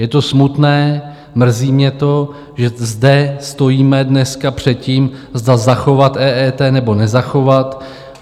Je to smutné, mrzí mě to, že zde stojíme dneska před tím, zda zachovat EET, nebo nezachovat.